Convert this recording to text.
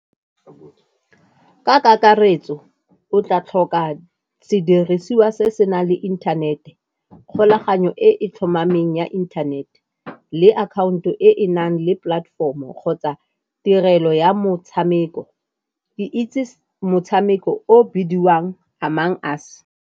Ka kakaretso o tla tlhoka sedirisiwa se se nang le inthanete, kgolaganyo e e tlhomameng ya internet-e, le akhaonto e e nang le platform-o kgotsa tirelo ya motshameko. Ke itse motshameko o bidiwang Among Us.